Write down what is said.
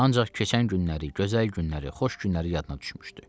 Ancaq keçən günləri, gözəl günləri, xoş günləri yadına düşmüşdü.